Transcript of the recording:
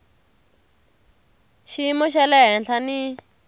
xiyimo xa le henhla ni